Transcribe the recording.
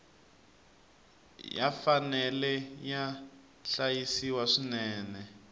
ya fanele ya hlayisiwa swinene